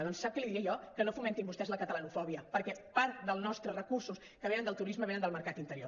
doncs sap què li diria jo que no fomentin vostès la catalanofòbia perquè part dels nostres recursos que venen del turisme venen del mercat interior